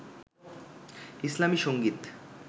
ইসলামী সংগীত